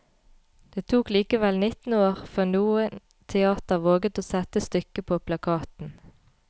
Det tok likevel nitten år før noe teater våget å sette stykket på plakaten.